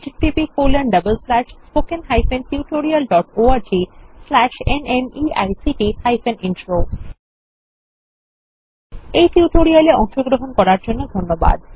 httpspoken tutorialorgNMEICT Intro এই tutorial এ অংশগ্রহন করার জন্য ধন্যবাদ